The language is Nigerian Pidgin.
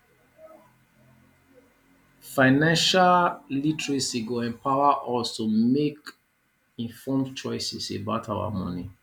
financial literacy go empower us to make make informed choices about our money